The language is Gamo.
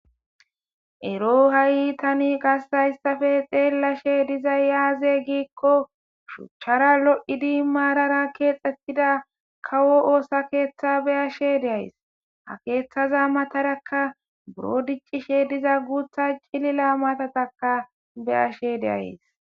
Eroo tani ha'i qase hayissappe xeelashshe dizayi azee gikko suchchara lo'idd marara kexxetida kawo oththa keththa be'ashshe de'ayiss ha keththaza matarakka buro diccishshe guththa cilila matatakka be'ashshe de'ayiss.